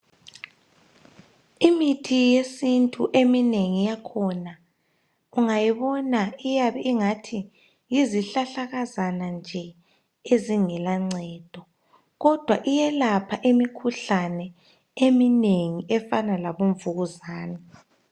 Imithi yesintu eminengi yakhona ungayibona iyabe ingathi yizihlahlakazana nje ezingela ncedo kodwa iyelapha imikhuhlane eminengi efana labo mvukuzane.